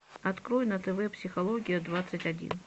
открой на тв психология двадцать один